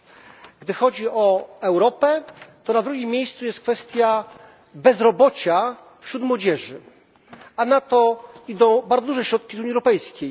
Jeśli chodzi o Europę, to na drugim miejscu jest kwestia bezrobocia wśród młodzieży, a na to idą bardzo duże środki z Unii Europejskiej.